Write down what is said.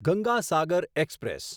Ganga Sagar express